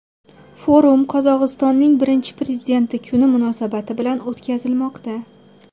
Forum Qozog‘istonning Birinchi prezidenti kuni munosabati bilan o‘tkazilmoqda.